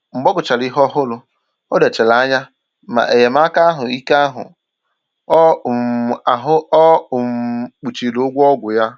Mgbe ọ gụchàrà ihe òhùrù, ọ lechàrà anya ma enyémàkà ahụ́ ike ahụ o um ahụ o um kpuchiri ụgwọ ọgwụ ya